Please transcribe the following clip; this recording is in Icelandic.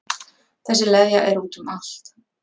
Þessi leðja er út um allt